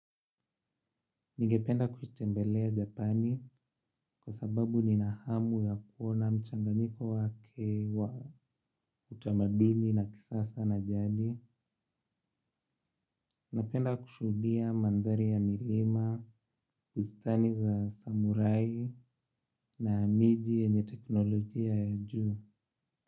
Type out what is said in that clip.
Nigependa kutembelea Japani kwa sababu nina hamu ya kuona mchanganyiko wake wa utamaduni na kisasa na jadi. Napenda kushuhudia mandhari ya milima, bustani za samorai na miji yenye teknolojia ya juu.